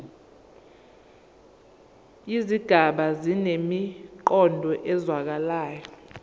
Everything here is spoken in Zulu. izigaba zinemiqondo ezwakalayo